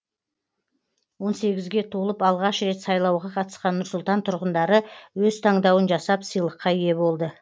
он сегізге толып алғаш рет сайлауға қатысқан нұр сұлтан тұрғындары өз таңдауын жасап сыйлыққа ие болды